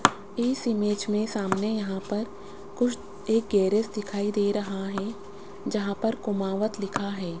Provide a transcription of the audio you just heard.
इस इमेज में सामने यहां पर कुछ एक गैरेज दिखाई दे रहा है जहां पर कुमावत लिखा है।